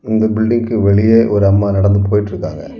இந்த பில்டிங்க்கு வெளியே ஒரு அம்மா நடந்து போயிட்டிருக்காங்க.